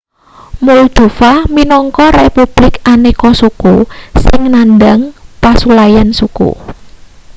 moldova minangka republik aneka-suku sing nandhang pasulayan suku